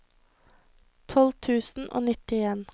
tolv tusen og nittien